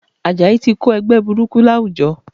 Àjàyí ti Kó ẹgbẹ́ burúkú láwùjọ